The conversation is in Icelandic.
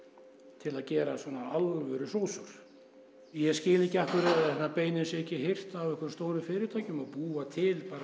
til að gera alvöru sósur ég skil ekki af hverju beinin séu ekki hirt af stórum fyrirtækjum og búa til bara